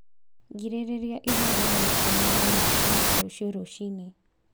Girĩrĩria ĩthaa rĩmwe kuuma thaa inya cia rũciũ rũcinĩ